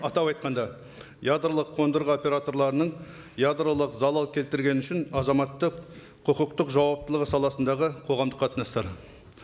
атап айтқанда ядролық қондырғы операторларының ядролық залал келтіргені үшін азаматтық құқықтық жауаптылығы саласындағы қоғамдық қатынастар